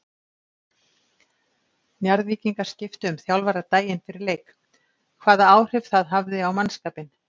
Njarðvíkingar skiptu um þjálfara daginn fyrir leik, hvaða áhrif það hafði á mannskapinn?